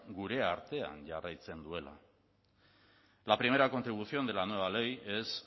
gure artean jarraitzen duela la primera contribución de la nueva ley es